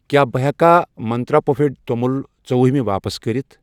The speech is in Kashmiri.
کیٛاہ بہٕ ہٮ۪کا منٛترٛا پُفڈِ توٚمُل ژُوہمہ واپس کٔرِتھ؟